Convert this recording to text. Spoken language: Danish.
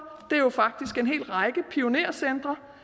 det er jo faktisk en hel række pionercentre